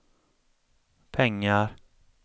pengar